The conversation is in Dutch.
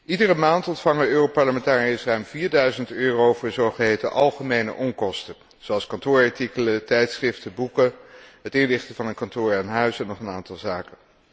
Iedere maand ontvangen Europarlementariërs ruim 4000 euro voor zogeheten algemene onkosten, zoals kantoorartikelen, tijdschriften, boeken, het inrichten van een kantoor aan huis en nog een aantal zaken.